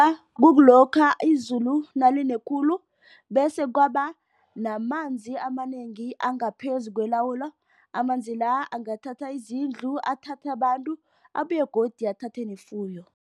Kukulokha izulu naline khulu bese kwabanamanzi amanengi angaphezu kwelawulo. Amanzi la angathatha izindlu, athathe abantu, abuye godu athathe nefuyo.